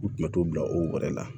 U tun bɛ t'o bila o wɛrɛ la